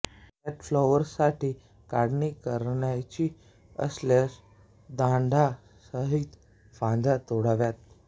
कटफ्लॉवरसाठी काढणी करावयाची असल्यास दांड्या सहित फांद्या तोडाव्यात